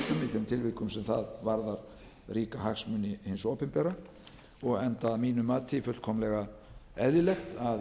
þeim tilvikum sem það varðar ríka hagsmuni hins opinbera og enda að mínu mati fullkomlega eðlilegt að